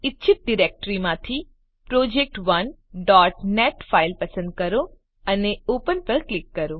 ઈચ્છિત ડિરેક્ટરીમાંથી project1નેટ ફાઈલ પસંદ કરો અને ઓપન પર ક્લિક કરો